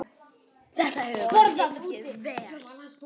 Þetta hefur bara gengið vel.